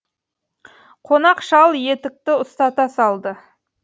қонақ шал етікті ұстата салды